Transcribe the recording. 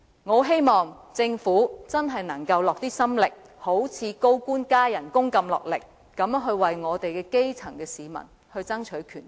我很希望政府可以花些心力，好像處理高官加薪般，落力為我們的基層市民爭取權益。